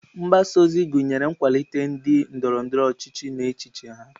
Mgbasa ozi gụnyere ịkwalite ndị ndoro-ndoro ochichi na echiche ha.